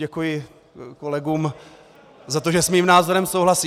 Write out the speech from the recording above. Děkuji kolegům za to, že s mým názorem souhlasí.